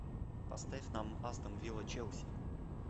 поставь нам астон вилла челси